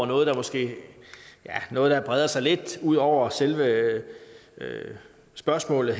noget der måske breder sig lidt ud over selve spørgsmålet